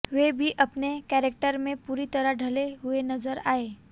वे भी अपने कैरेक्टर में पूरी तरह ढले हुए नजर आए